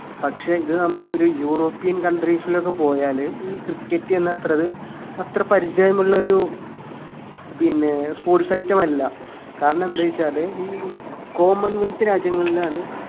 പക്ഷെ ഇത് നമ്മളെ ഒരു european countries ലൊക്കെ പോയാല് ഈ cricket എന്ന അത്രത് അത്ര പരിചയം ഉള്ളൊരു പിന്നെ sports item അല്ല കാരണം എന്തേയ് വച്ചാല് ഈ common wealth രാജ്യങ്ങളിലാണ്